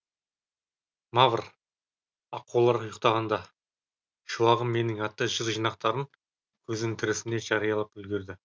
мавр аққулар ұйықтағанда шуағым менің атты жыр жинақтарын көзінің тірісінде жариялап үлгерді